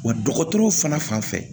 Wa dɔgɔtɔrɔw fana fan fɛ